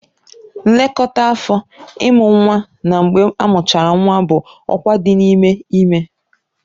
Nlekọta afọ, Ịmụ nwa na mgbe amuchara nwa bụ ọkwa dị n'ime ime